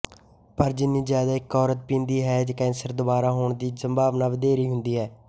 ਪਰ ਜਿੰਨੀ ਜ਼ਿਆਦਾ ਇੱਕ ਔਰਤ ਪੀਂਦੀ ਹੈ ਕੈਂਸਰ ਦੁਬਾਰਾ ਹੋਣ ਦੀ ਸੰਭਾਵਨਾ ਵਧੇਰੇ ਹੁੰਦੀ ਹੈ